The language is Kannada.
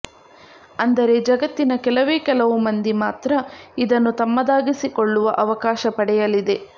ಅಂದರೆ ಜಗತ್ತಿನ ಕೆಲವೇ ಕೆಲವು ಮಂದಿ ಮಾತ್ರ ಇದನ್ನು ತಮ್ಮದಾಗಿಸಿಕೊಳ್ಳುವ ಅವಕಾಶ ಪಡೆಯಲಿದೆ